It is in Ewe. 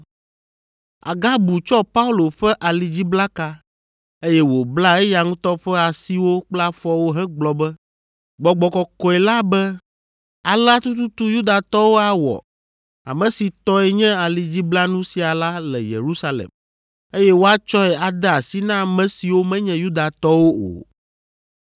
Agabu tsɔ Paulo ƒe alidziblaka, eye wòbla eya ŋutɔ ƒe asiwo kple afɔwo hegblɔ be, “Gbɔgbɔ Kɔkɔe la be, ‘Alea tututu Yudatɔwo awɔ ame si tɔe nye alidziblanu sia la le Yerusalem, eye woatsɔe ade asi na ame siwo menye Yudatɔwo o.’ ”